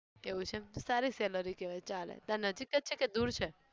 એવું છે એમ સારી salary કહેવાય ચાલે. તારે નજીક છે કે દુર છે?